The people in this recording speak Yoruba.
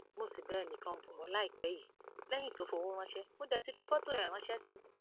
mo sì bá ẹnìkan bò ó láìpẹ yìí lẹyìn tó fọwọ ránṣẹ mo dé fi fọtò ẹ ránṣẹ sí i